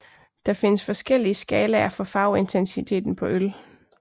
Der findes forskellige skalaer for farveintensiteten på øl